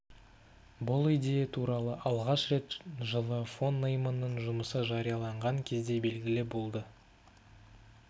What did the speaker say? бұл идея туралы алғаш рет жылы фон нейманның жұмысы жарияланған кезде белгілі болды